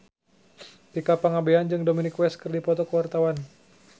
Tika Pangabean jeung Dominic West keur dipoto ku wartawan